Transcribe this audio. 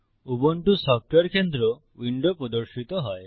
Ubuntu software কেন্দ্র window প্রদর্শিত হয়